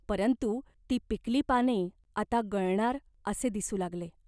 परंतु ती पिकली पाने आता गळणार असे दिसू लागले.